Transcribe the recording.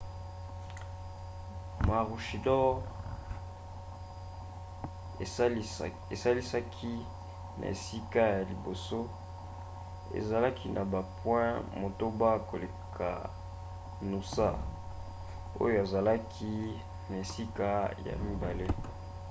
maroochydore asilisaki na esika ya liboso azalaki na bapoint motoba koleka noosa oyo azalaki na esika ya mibale